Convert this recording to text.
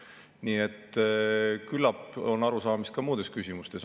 Nii et küllap on arusaamist ka muudes küsimustes.